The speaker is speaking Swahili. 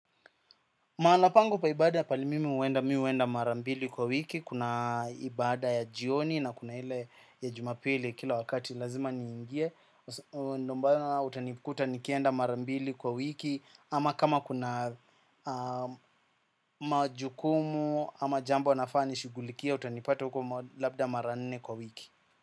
Mahala pangu pa ibada pahali mimi huenda mimi huenda marambili kwa wiki. Kuna ibada ya jioni na kuna ile ya jumapili kila wakati lazima niingie. Ndo maana utanikuta nikienda marambili kwa wiki ama kama kuna majukumu ama jambo nafaa nishughulikie utanipata huko labda mara nne kwa wiki.